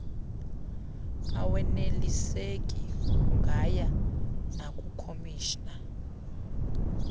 aweneliseki ungaya nakukhomishina